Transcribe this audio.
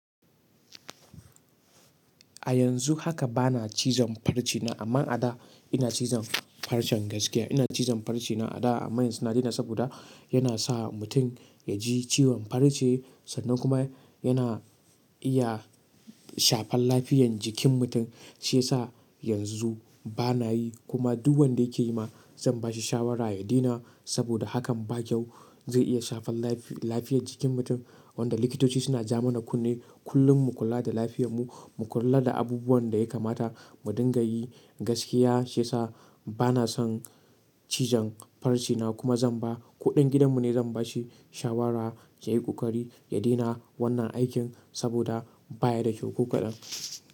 A yanzu haka bana cizon farce na, amma a da ina cizon farcen gaskiya. Ina cizon farce na ada, amman yanzu na daina saboda yanasa mutun yaji ciwon farce sannan kuma, yana iya shafan lafiyan jikin mutun. Shi sa yanzu bana yi kuma duk wanda yake yi ma zan ba shi shawara ya daina saboda hakan ba kyau. Zai iya shafan lafi-lafiyan jikin mutum wanda likitoci suna jamana kunne kullun mu kula da lafiyarmu, mu kula da abubuwan da ya kamata mu dinga yi gaskiya. Shi sa bana son cijon farce na kuma zan ba kuɗan gidanmu ne zan ba shi shawara ya yi ƙoƙari ya daina wannan aikin saboda baya da kyau ƙoƙaɗan.